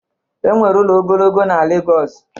Enwere ụlọ ogologo na Lagos